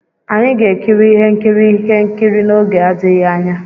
Anyị ga-ekiri ihe nkiri ihe nkiri n'oge adịghị anya.